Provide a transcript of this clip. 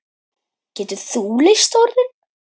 Getur þú leyst orðin?